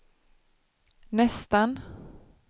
nästan